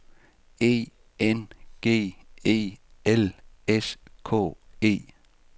E N G E L S K E